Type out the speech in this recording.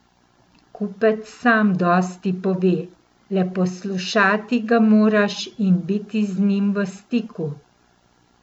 Kupec sam dosti pove, le poslušati ga moraš in biti z njim v stiku.